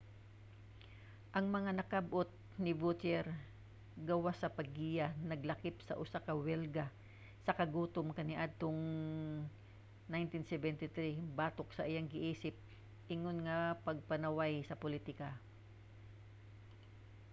ang mga nakab-ot ni vautier gawas sa paggiya naglakip sa usa ka welga sa kagutom kaniadtong 1973 batok sa iyang giisip ingon nga pagpanaway sa politika